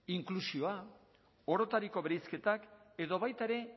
inklusioa orotariko bereizketak edo baita ere